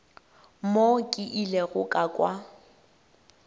mo ke ilego ka kwa